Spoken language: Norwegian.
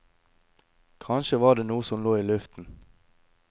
Kanskje var det noe som lå i luften.